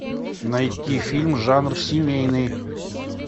найти фильм жанр семейный